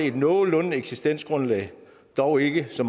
et nogenlunde eksistensgrundlag dog ikke så